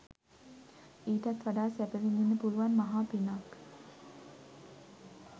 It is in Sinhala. ඊටත් වඩා සැප විඳින්න පුළුවන් මහා පිනක්